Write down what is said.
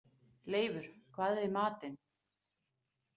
Leifur, hvað er í matinn?